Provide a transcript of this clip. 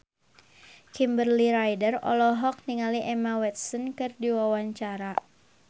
Kimberly Ryder olohok ningali Emma Watson keur diwawancara